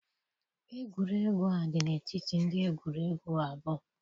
egwuregwu a dị n'etiti ndị egwuregwu abụọ.